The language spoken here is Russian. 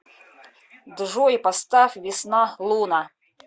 джой поставь весна луна